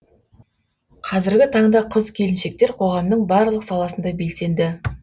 қазіргі таңда қыз келіншектер қоғамның барлық саласында белсенді